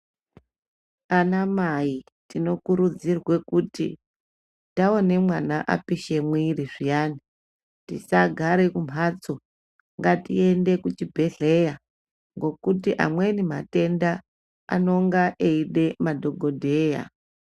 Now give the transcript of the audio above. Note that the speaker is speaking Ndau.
Anamai tinokurudzirwe kuti taone mwana apishe mwiiri zviyani tisagare kumhatso, ngatiende kuchibhehleya ngokuti amweni mayenda anonga eida madhogodheya.